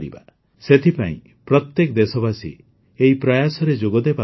ସେଥିପାଇଁ ପ୍ରତ୍ୟେକ ଦେଶବାସୀ ଏହି ପ୍ରୟାସରେ ଯୋଗଦେବା ଉଚିତ